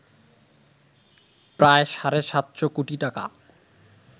প্রায় সাড়ে ৭০০ কোটি টাকা